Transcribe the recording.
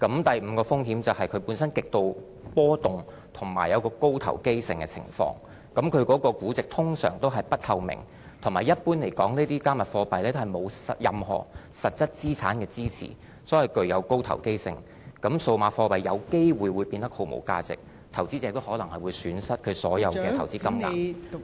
第五個風險是，加密數碼貨幣本身極度波動及高投機性的情況，其估值通常是不透明，同時一般來說，加密數碼貨幣沒有任何實質資產的支持，所以具有高投機性，因此數碼貨幣有機會變得毫無價值，投資者可能會損失所有投資金額......